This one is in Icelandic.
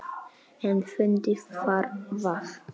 En fyndið var það.